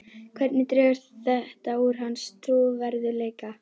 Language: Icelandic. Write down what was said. Hvernig dregur þetta úr hans trúverðugleika?